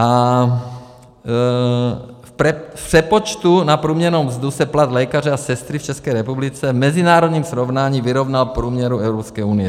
A v přepočtu na průměrnou mzdu se plat lékaře a sestry v České republice v mezinárodním srovnání vyrovnal průměru Evropské unie.